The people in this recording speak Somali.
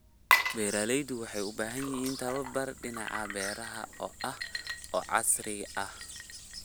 Beeraleydu waxay u baahan yihiin tababar dhinaca beeraha ah oo casri ah.